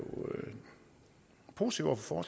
positive over for